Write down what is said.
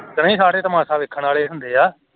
ਕੇ ਨਇ ਸਾਰੇ ਤਮਾਸ਼ਾ ਵੇਖਨ ਵਾਲੇ ਹੁੰਦੇ ਏ